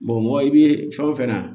mɔgɔ i bɛ fɛn o fɛn na